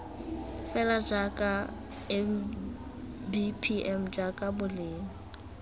fela jaaka mbpm jaaka boleng